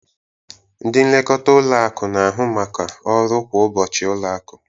Ndị nlekọta ụlọ akụ na-ahụ maka ọrụ kwa ụbọchị ụlọ akụ.